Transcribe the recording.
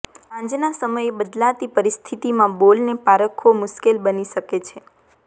સાંજના સમયે બદલાતી પરિસ્થિતિમાં બોલને પારખવો મુશ્કેલ બની શકે છે